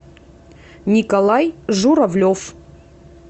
николай журавлев